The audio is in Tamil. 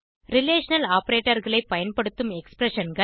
ரிலேஷனல் operatorகளை பயன்படுத்தும் எக்ஸ்பிரஷன்ஸ்